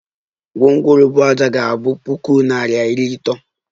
Gwongworo buu ájá ga abu puku naira iri atọ